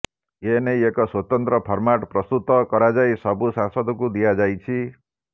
ଏନେଇ ଏକ ସ୍ବତନ୍ତ୍ର ଫର୍ମାଟ ପ୍ରସ୍ତୁତ କରାଯାଇ ସବୁ ସାଂସଦଙ୍କୁ ଦିଆଯାଇଛି